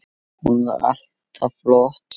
Hún var alltaf flott.